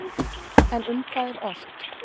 En um hvað er ort?